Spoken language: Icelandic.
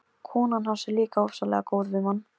Konan hans er líka ofsalega góð við mann.